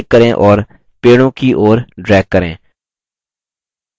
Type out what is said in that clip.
अब click करें और पेड़ों की ओर drag करें